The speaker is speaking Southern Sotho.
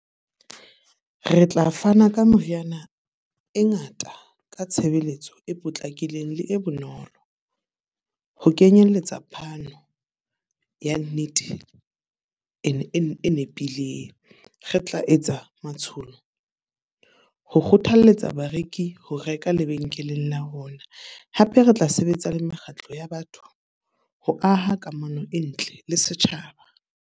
Re tla fana ka meriana e ngata ka tshebeletso e potlakileng le e bonolo. Ho kenyelletsa phano ya nnete e nepileng. Re tla etsa matsholo ho kgothalletsa bareki ho reka lebenkeleng la rona. Hape re tla sebetsa le mekgatlo ya batho ho aha kamano e ntle le setjhaba.